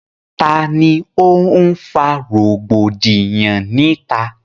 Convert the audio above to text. Tani ó ń fa rògbòdìyàn ni ìta?